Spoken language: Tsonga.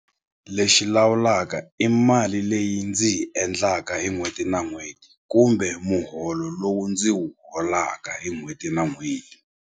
Lexi lawulaka i mali leyi ndzi yi endlaka hi n'hweti na n'hweti kumbe muholo lowu ndzi wu holaka hi n'hweti na n'hweti.